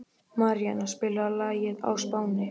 Maríanna, spilaðu lagið „Á Spáni“.